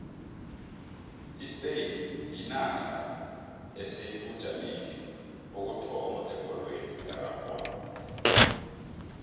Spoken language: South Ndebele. ispain yinarha esebujameni bokuthoma ebholweni erarhwako